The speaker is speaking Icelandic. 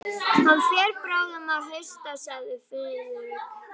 Hann fer bráðum að hausta sagði Friðrik.